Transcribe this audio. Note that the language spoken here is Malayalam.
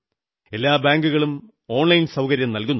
എല്ലാ ബാങ്കുകളും ഓൺലൈൻ സൌകര്യം നല്കുന്നുണ്ട്